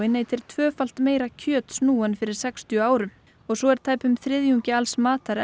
neytir tvöfalt meira kjöts nú en fyrir sextíu árum svo er tæpum þriðjungi alls matar